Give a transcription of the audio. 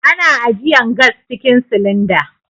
Ana ajiyan gas cikin silinda.